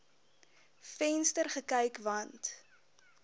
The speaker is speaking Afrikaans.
venster gekyk want